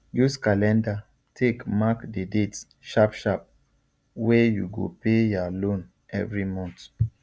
use calendar take mark the dates sharpsharp wey you go pay ya loan every month